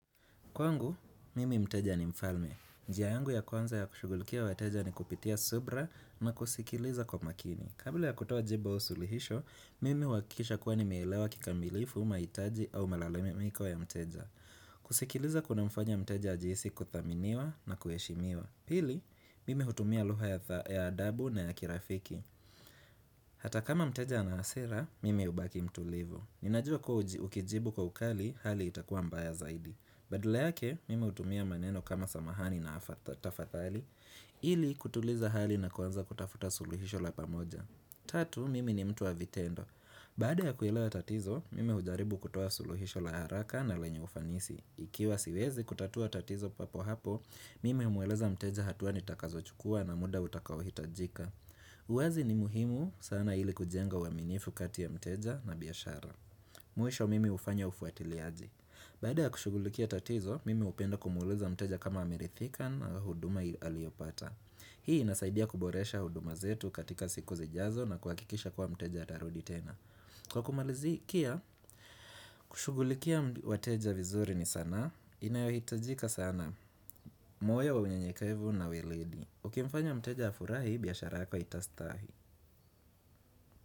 Kwangu, mimi mteja ni mfalme. Njia yangu ya kwanza ya kushugulikia wateja ni kupitia subira na kusikiliza kwa makini. Kabla ya kutoa jibu au suluhisho, mimi uhakikisha kuwa nimeelewa kikamilifu mahitaji au malalamiko ya mteja. Kusikiliza kunamfanya mteja ajihisi kuthaminiwa na kuheshimiwa. Pili, mimi hutumia lugha ya adabu na ya kirafiki. Hata kama mteja ana hasira, mimi hubaki mtulivu. Ninajua kuwa ukijibu kwa ukali hali itakuwa mbaya zaidi. Badala yake, mimi hutumia maneno kama samahani na tafadhali ili kutuliza hali na kuanza kutafuta suluhisho la pamoja Tatu, mimi ni mtu wa vitendo Baada ya kuelewa tatizo, mimi hujaribu kutoa suluhisho la haraka na lenye ufanisi Ikiwa siwezi kutatua tatizo papo hapo, mimi umueleza mteja hatua nitakazochukua na muda utakaohitajika uwazi ni muhimu sana ili kujenga uaminifu kati ya mteja na biashara Mwisho mimi hufanya ufuatiliaji Baada ya kushughulikia tatizo, mimi hupenda kumuuliza mteja kama ameridhika na huduma aliyopata. Hii inasaidia kuboresha huduma zetu katika siku zijazo na kuhakikisha kuwa mteja atarudi tena. Kwa kumalizia, kushugulikia wateja vizuri ni sanaa, inayohitajika sana. Moyo wa unyenyekevu na weledi. Ukimfanya mteja afurahi, biashara yako itastahi.